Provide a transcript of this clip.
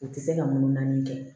U tɛ se ka mun naani kɛ